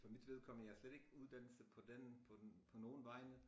For mit vedkommende jeg har slet ikke uddannelse på den på den på nogen vejne